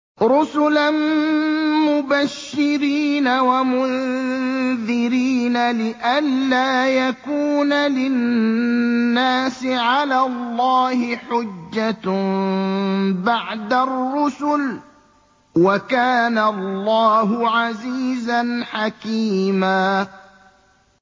رُّسُلًا مُّبَشِّرِينَ وَمُنذِرِينَ لِئَلَّا يَكُونَ لِلنَّاسِ عَلَى اللَّهِ حُجَّةٌ بَعْدَ الرُّسُلِ ۚ وَكَانَ اللَّهُ عَزِيزًا حَكِيمًا